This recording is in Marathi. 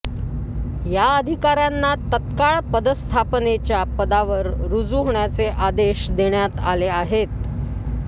या अधिकाऱ्यांना तत्काळ पदस्थापनेच्या पदावर रुजू होण्याचे आदेश देण्यात आले आहेत